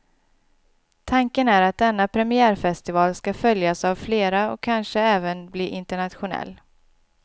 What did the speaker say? Tanken är att denna premiärfestival skall följas av flera och kanske även bli internationell.